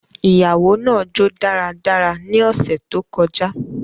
Iyawo naa jo daradara ni ọsẹ to kọja.